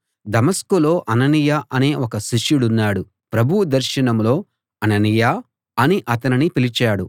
దమస్కులో Ananias అనే ఒక శిష్యుడున్నాడు ప్రభువు దర్శనంలో అననీయా అని అతనిని పిలిచాడు